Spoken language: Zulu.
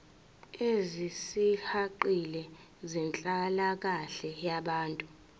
ezisihaqile zenhlalakahle yabantu